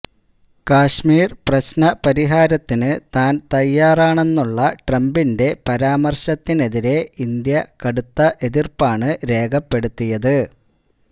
കശ്മീര് പ്രശ്ന പരിഹാരത്തിന് താന് തയ്യാറാണെന്നുള്ള ട്രംപിന്റെ പരാമര്ശത്തിനെതിരെ ഇന്ത്യ കടുത്ത എതിര്പ്പാണ് രേഖപ്പെടുത്തിയത്